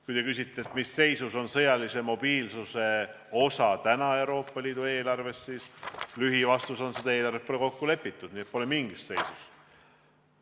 Kui te küsite, mis seisus on sõjalise mobiilsuse osa täna Euroopa Liidu eelarves, siis lühivastus on, et seda eelarvet pole kokku lepitud, nii et see pole mingis seisus.